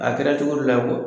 A kɛra cogo dɔ la ye kuwa